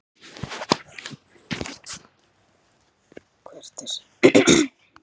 Hvert er sterkasta lið Stjörnunnar?